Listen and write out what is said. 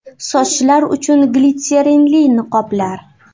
Sochlar uchun glitserinli niqoblar.